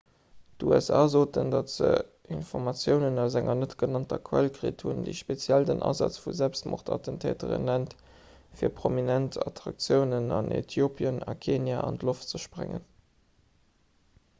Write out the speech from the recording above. d'usa soen datt se informatiounen aus enger net-genannter quell kritt hunn déi speziell den asaz vu selbstmordattentäteren nennt fir prominent attraktiounen an äthiopien a kenia an d'loft ze sprengen